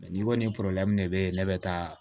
N'i ko nin de bɛ ne bɛ taa